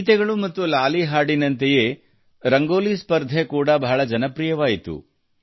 ಗೀತೆಗಳು ಮತ್ತು ಲಾಲಿ ಹಾಡಿನಂತೆಯೇ ರಂಗೋಲಿ ಸ್ಪರ್ಧೆ ಕೂಡಾ ಬಹಳ ಜನಪ್ರಿಯವಾಯಿತು